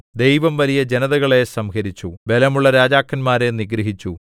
ദൈവം വലിയ ജനതകളെ സംഹരിച്ചു ബലമുള്ള രാജാക്കന്മാരെ നിഗ്രഹിച്ചു